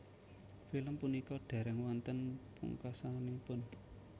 Film punika dereng wonten pungkasanipun